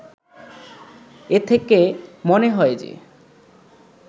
এ থেকে মনে হয় যে